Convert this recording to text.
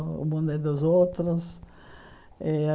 O o mundo é dos outros. Eh a